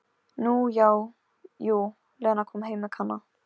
Nú já, jú, Lena kom heim með Kana.